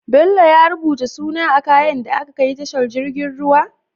Bello ya rubuta suna a kayan da aka kai tashar jirgin ruwa?